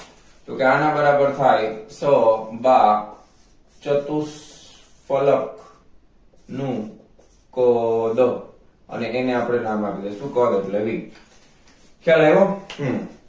તો કે આના બરાબર થાય સ બા ચતુષ્ફલક નું પદ અને એને આપણે નામ આપી દેસુ પદ એટલે v ખ્યાલ આવ્યો હમમ